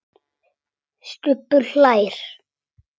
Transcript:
Stubbur hlær.